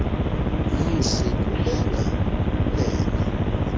mzi kulenga lenga